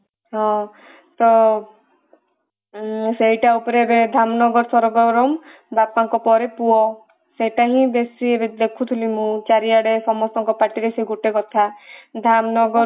ହଁ ତ ସେଇଟା ଉପରେ ଏବେ ଧାମନଗର ସରଗରମ ବାପା ଙ୍କ ପରେ ପୁଅ ସେଟ ହିଁ ବେଶୀ ଏବେ ଦେଖୁଥିଲି ମୁଁ ଚାରି ଆଡେ ସମସ୍ତଙ୍କ ପାଟିରେ ସେଇ ଗୋଟେ କଥା ଧାମନଗର